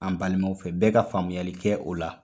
An balimaw fɛ, bɛɛ ka faamuyali kɛ o la.